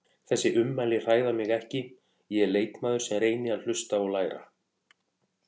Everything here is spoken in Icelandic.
Þessi ummæli hræða mig ekki, ég er leikmaður sem reyni að hlusta og læra.